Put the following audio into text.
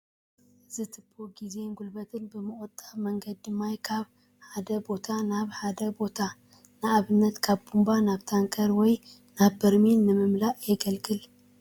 እዚ ቱባ ግዜን ጉልበትን ብዝቑጥብ መንገዲ ማይ ካብ ሓደ ቦታ ናብ ሓደ ቦታ ንኣብነት ካብ ቡንባ ናብ ታንከር ወይ ናብ በርሚል ንምእታው የግልግል፡፡